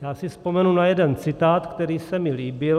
Já si vzpomenu na jeden citát, který se mi líbil.